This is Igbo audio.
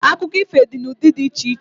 Akụkọ ifo dị n'ụdị dị iche iche